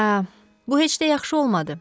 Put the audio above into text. Hə, bu heç də yaxşı olmadı.